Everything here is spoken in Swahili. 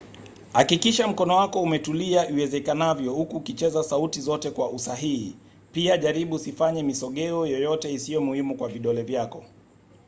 hakikisha mkono wako umetulia iwezekanavyo huku ukicheza sauti zote kwa usahihi - pia jaribu usifanye misogeo yoyote isiyo muhimu kwa vidole vyako